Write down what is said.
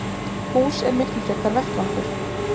Hús er miklu frekar vettvangur.